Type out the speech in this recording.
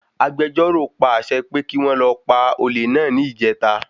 Agbejọ́rò pa àṣẹ pé kí wọ́n lọ pa olé náà ní ìjèta